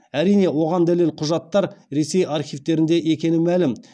әрине оған дәлел құжаттар ресей архивтерінде екені мәлім